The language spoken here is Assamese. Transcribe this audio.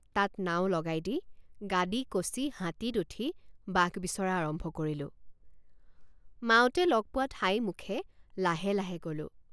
তাত নাও লগাই দি গাদী কচি হাতীত উঠি বাঘ বিচৰা আৰম্ভ কৰিলোঁ৷ মাউতে লগ পোৱা ঠাইমুখে লাহে লাহে গলোঁ।